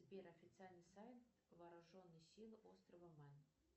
сбер официальный сайт вооруженные силы острова мэн